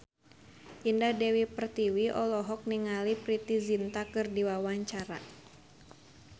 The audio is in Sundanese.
Indah Dewi Pertiwi olohok ningali Preity Zinta keur diwawancara